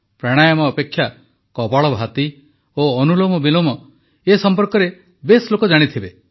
ପ୍ରାଣାୟାମ ଯେପରିକି କପାଳଭାରତି ଓ ଅନୁଲୋମବିଲୋମ ସଂପର୍କରେ ବେଶ୍ ଲୋକ ଜାଣିଥିବେ